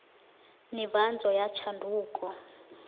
nivhadzo ya tshanduko